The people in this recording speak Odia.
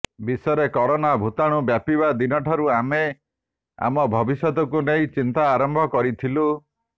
ବିଶ୍ୱରେ କରୋନା ଭୂତାଣୁ ବ୍ୟାପିବା ଦିନଠାରୁ ଆମେ ଆମ ଭବିଷ୍ୟତକୁ ନେଇ ଚିନ୍ତା ଆରମ୍ଭ କରିଥିଲୁ